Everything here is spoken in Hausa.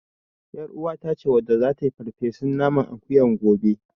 YarUwata ce wadda zata yi farfesun naman akuyan gobe.